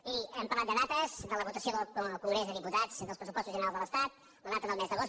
miri hem parlat de dates de la votació al congrés dels diputats dels pressupostos generals de l’estat la data del mes d’agost